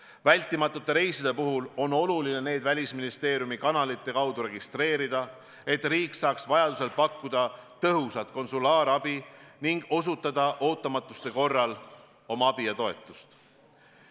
Hädavajalike reiside puhul on oluline need Välisministeeriumi kanalite kaudu registreerida, et riik saaks vajadusel pakkuda tõhusat konsulaarabi ning osutada ootamatuste korral oma abi ja toetust.